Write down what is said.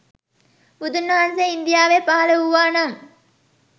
බුදුන්වහන්සේ ඉන්දියාවේ පහල වූවානම්